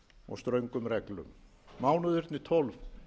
og ströngum reglum mánuðirnir tólf